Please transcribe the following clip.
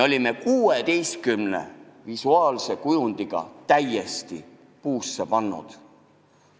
Aga 16 visuaalse kujundiga olime täiesti puusse pannud.